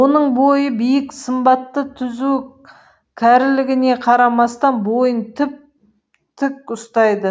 оның бойы биік сымбаты түзу кәрілігіне қарамастан бойын тіп тік ұстайды